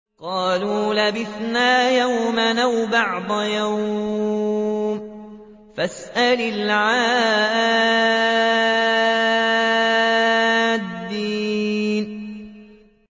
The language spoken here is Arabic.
قَالُوا لَبِثْنَا يَوْمًا أَوْ بَعْضَ يَوْمٍ فَاسْأَلِ الْعَادِّينَ